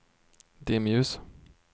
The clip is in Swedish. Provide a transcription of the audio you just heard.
dimljus